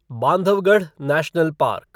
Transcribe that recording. Bandhavgarh national park